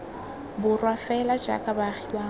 borwa fela jaaka baagi bangwe